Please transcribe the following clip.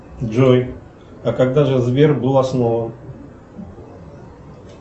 джой а когда же сбер был основан